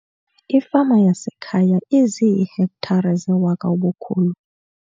Ifama yasekhaya iziihektare zewaka ubukhulu.